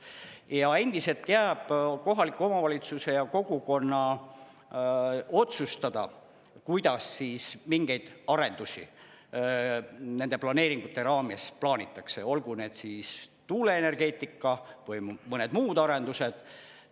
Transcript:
Ja endiselt jääb kohaliku omavalitsuse ja kogukonna otsustada, kuidas mingeid arendusi nende planeeringute raames plaanitakse, olgu need siis tuuleenergeetika või mõned muud arendused.